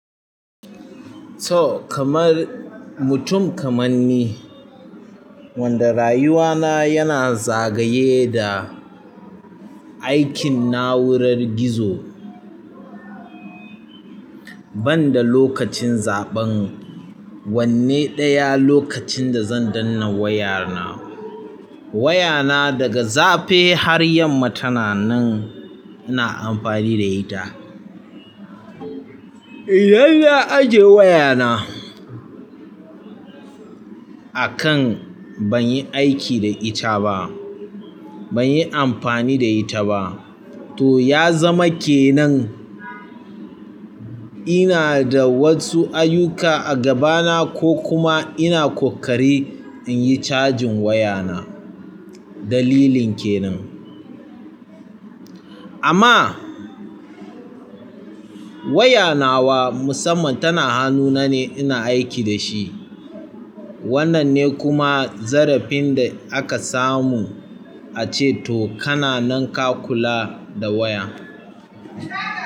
To kamar mutum kaman ni, wanda rayuwa na yana zagaye da aikin na'urar gizo. Banda lokacin zaɓen wanne ɗaya lokacin da zan dannan waya na. Wayana daga zaffe har yamma tana nan ina amfani da ita. Idan na ajiye wayana a kan banyi aiki da ita ba, banyi amfani da ita ba to ya zama kenan ina da wasu ayyuka a gaba na ko kuma ina ƙoƙarin inti cajin wayana. Dalilin kenan. Amma wayanawa musamman tana hanuna ne ina aiki dashi. Wannan ne kuma zarafin da aka samu ace to kana nan ka kula da waya.